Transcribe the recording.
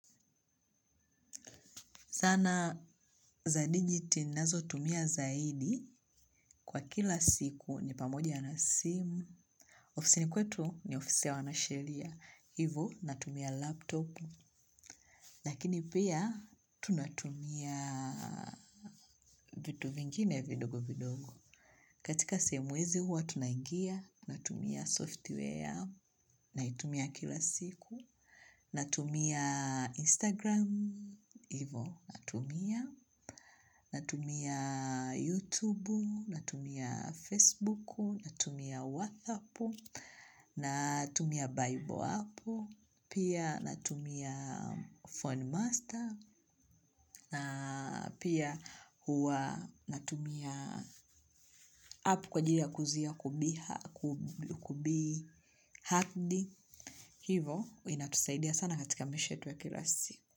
Sana za digiti nnazotumia zaidi kwa kila siku ni pamoja na sim. Ofisini kwetu ni ofisi ya wanasheria. Hivo natumia laptop. Lakini pia tunatumia vitu vingine vidogo vidogo. Katika sehemu hizi huwa tunaingia. Natumia software. Naitumia kila siku. Natumia Instagram. Hivo natumia. Natumia YouTube, natumia Facebook, natumia WhatsApp, natumia Bible app, natumia phone master, natumia app kwa ajili ya kuzuia kubi hakdi. Hivo, inatusaidia sana katika maisha yetu ya kila siku.